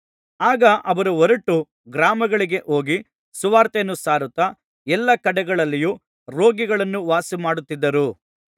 ಆಗ ಅವರು ಹೊರಟು ಗ್ರಾಮಗಳಿಗೆ ಹೋಗಿ ಸುವಾರ್ತೆಯನ್ನು ಸಾರುತ್ತಾ ಎಲ್ಲಾ ಕಡೆಗಳಲ್ಲಿಯೂ ರೋಗಿಗಳನ್ನು ವಾಸಿಮಾಡುತ್ತಿದ್ದರು